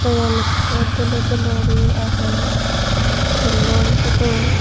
goyem ekko dulo dulo guri aage tullon photo.